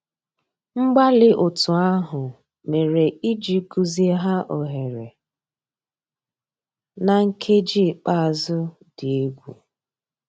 Mgbàlí ótú àhụ́ mérè ìjì gùzíghà óghéré ná nkèjí ikpéázụ́ dị́ égwu.